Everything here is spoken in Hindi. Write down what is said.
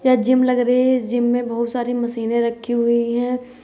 यह जिम लग रही हैं| इस जिम में बहुत सारी मशीनें रखी हुईं है |